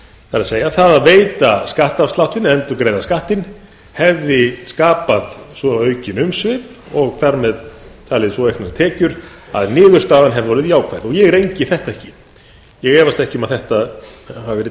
það er að það að veita skattafsláttinn endurgreiða skattinn hefði skapað svo aukin umsvif og þar með talið svo auknar tekjur að niðurstaðan hefði orðið jákvæð og ég rengi þetta ekki ég efast ekki um að þetta hafi verið